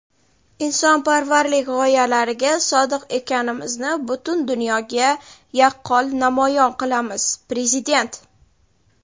insonparvarlik g‘oyalariga sodiq ekanimizni butun dunyoga yaqqol namoyon qilamiz – Prezident.